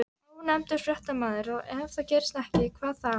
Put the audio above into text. Ónefndur fréttamaður: Og ef það gerist ekki, hvað þá?